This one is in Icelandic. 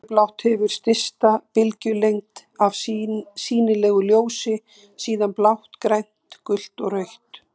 Fjólublátt hefur stysta bylgjulengd af sýnilegu ljósi, síðan blátt, grænt, gult og rautt.